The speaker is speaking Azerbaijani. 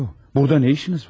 Burada nə işiniz var?